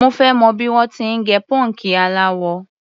Mo fẹ́ mọ̀ bí wọ́n ti ń gẹ pọ́ǹkì aláwọ.